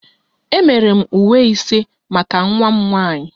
Emere m uwe ise maka nwa m nwanyị